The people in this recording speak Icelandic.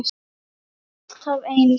Alltaf eins.